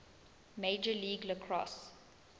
major league lacrosse